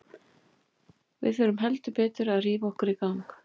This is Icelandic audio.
Við þurfum heldur betur að rífa okkur upp.